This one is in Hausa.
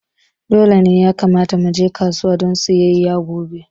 Dole ne ya kamata muje kasuwa don sayayya gobe